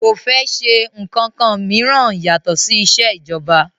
Kò fẹ́ ṣe ǹkankan mìíràn yàtọ̀ sí isẹ́ ìjọba